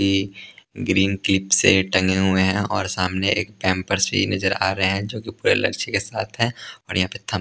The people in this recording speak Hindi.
भी ग्रीन क्लिप से टंगे हुए हैं और सामने एक पैमपर्स भी नजर आ रहे हैं जो कि पूरे लर्चे के साथ है और यहाँ पे थम --